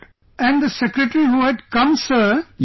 And the secretary who had come sir...